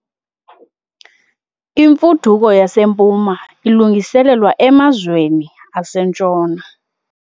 Imfuduko yaseMpuma ilungiselelwa emazweni aseNtshona.